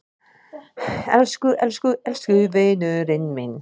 Elsku elsku elsku vinurinn minn.